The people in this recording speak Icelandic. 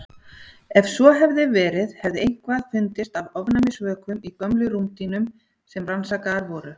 Ef svo hefði verið hefði eitthvað fundist af ofnæmisvökum í gömlum rúmdýnum sem rannsakaðar voru.